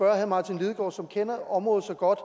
herre martin lidegaard som kender området så godt